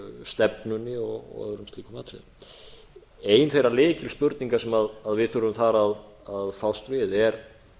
stefnunni og öðrum slíkum atriðum ein þeirra lykilspurninga sem við þurfum þar að fást við er